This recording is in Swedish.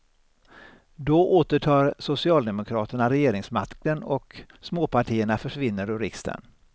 Då återtar socialdemokraterna regeringsmakten och småpartierna försvinner ur riksdagen.